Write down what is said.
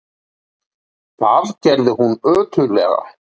Það gerði hún ötullega.